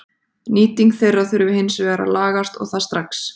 Nýting þeirra þurfi hins vegar að lagast og það strax.